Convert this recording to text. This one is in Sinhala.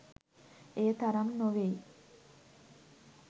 එය තරම් නොවෙයි.